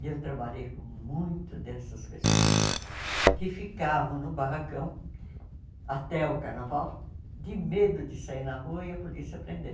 E eu trabalhei com muito dessas pessoas que ficavam no barracão até o carnaval de medo de sair na rua e a polícia prender.